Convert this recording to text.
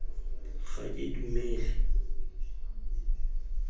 ga ke dumele seo ke